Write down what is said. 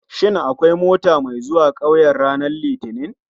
Shin akwai mota mai zuwa 'kauyen ranar litinin?